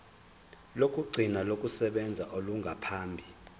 lokugcina lokusebenza olungaphambi